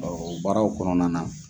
O baaraw kɔnɔna na